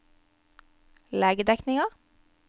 legedekningen